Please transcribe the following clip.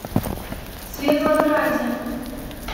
светлограде